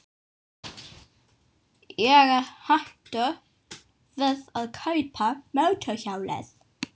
Ég er hættur við að kaupa mótorhjólið.